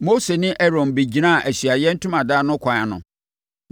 Mose ne Aaron bɛgyinaa Ahyiaeɛ Ntomadan no kwan ano,